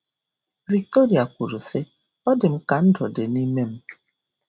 Victoria kwuru, sị, Ọ dị m ka ndụ dị nime m.